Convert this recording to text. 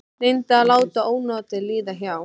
Reyndi að láta ónotin líða hjá.